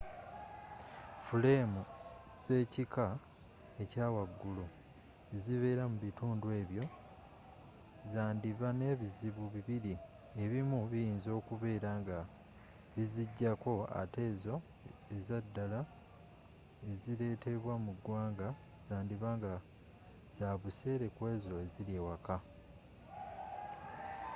fuleemu zekika ekyawaggulu ezibeera mu bitundu ebyo zandiba nebizibu bibiri ebimu biyinza okubeera nga bizijjako ate ezo ezaddala ezireetebwa mu ggwanga zandiba nga zabuseere kwezo eziri ewaka